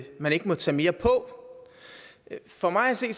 man ikke må tage mere på for mig at se